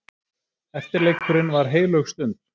Eftirleikurinn var heilög stund.